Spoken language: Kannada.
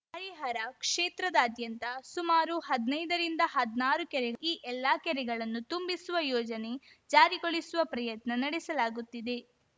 ಹರಿಹರ ಕ್ಷೇತ್ರದಾದ್ಯಂತ ಸುಮಾರು ಹದ್ನೈದ ರಿಂದಹದ್ನಾರು ಕೆರೆ ಈ ಎಲ್ಲ ಕೆರೆಗಳನ್ನು ತುಂಬಿಸುವ ಯೋಜನೆ ಜಾರಿಗೊಳಿಸುವ ಪ್ರಯತ್ನ ನಡೆಸಲಾಗುತ್ತಿದೆ